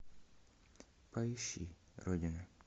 поищи родина